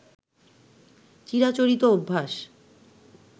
চিরাচরিত অভ্যাস